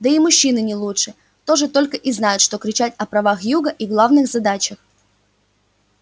да и мужчины не лучше тоже только и знают что кричать о правах юга и главных задачах